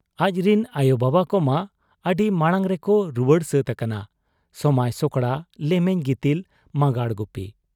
ᱟᱡᱨᱤᱱ ᱟᱭᱚᱵᱟᱵᱟ ᱠᱚᱢᱟ ᱟᱹᱰᱤ ᱢᱟᱬᱟᱝᱨᱮ ᱠᱚ ᱨᱩᱣᱟᱹᱲ ᱥᱟᱹᱛ ᱟᱠᱟᱱᱟ ᱥᱚᱢᱟᱸᱭ ᱥᱚᱠᱲᱟ ᱞᱮᱢᱮᱧ ᱜᱤᱛᱤᱞ ᱢᱟᱸᱜᱟᱲ ᱜᱩᱯᱤ ᱾